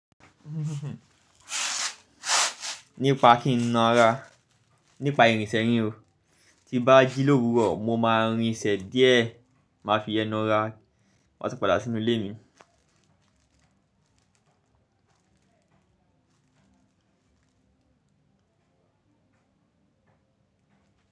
Nípa kí n na ara, nípa irinṣẹ́ nío. Ti n bá jí lórú rọ, mo máa rin ìṣe díẹ̀, máa fi yen nara matun padà sínú ilé mi.